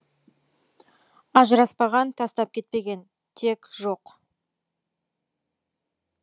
ажыраспаған тастап кетпеген тек жоқ